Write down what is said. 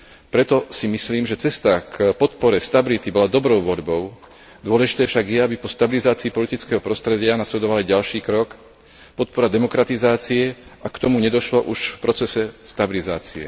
Preto si myslím, že cesta k podpore stability bola dobrou voľbou, dôležité však je, aby po stabilizácii politického prostredia nasledoval aj ďalší krok podpora demokratizácie, ak k tomu nedošlo už v procese stabilizácie.